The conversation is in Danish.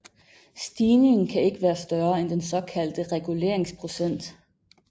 Stigningen kan ikke være større end den såkaldte reguleringsprocent